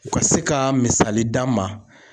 U ka se ka misali d'an ma.